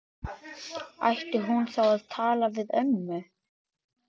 Ætti hún þá að tala við ömmu?